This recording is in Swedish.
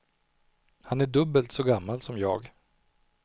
Han är dubbelt så gammal som jag.